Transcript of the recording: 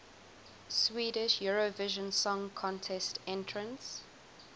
swedish eurovision song contest entrants